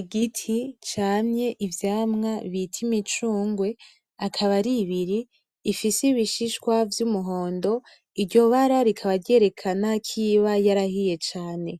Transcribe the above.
Igiti camye ivyamwa bita imicungwe , akaba ar'ibiri , ifise ibishishwa vy'umuhondo iryo bara rikaba ryerekana k'iba yarahiye cane.